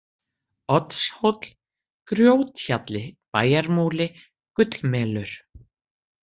Oddshóll, Grjóthjalli, Bæjarmúli, Gullmelur